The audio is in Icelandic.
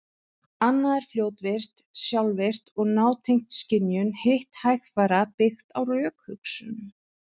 Annað er fljótvirkt, sjálfvirkt og nátengt skynjun, hitt hægfara, byggt á rökhugsun.